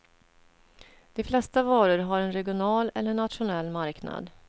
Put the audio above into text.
De flesta varor har en regional eller en nationell marknad.